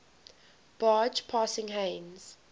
barge passing heinz